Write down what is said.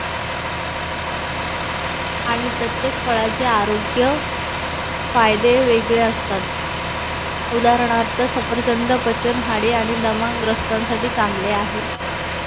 आणि प्रत्येक फळाचे आरोग्य फायदे वेगळे असतात उदानहार्थ सफरचंद पचन हाडे आणि दमा ग्रस्थासाथी चांगले आहे